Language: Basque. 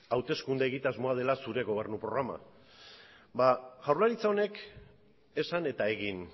hauteskunde egitasmoa dela zure gobernu programa ba jaurlaritza honek esan eta egin